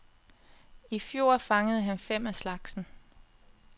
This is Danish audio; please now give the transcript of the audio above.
I fjor fangede han fem af slagsen.